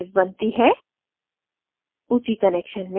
एक square wave बनती है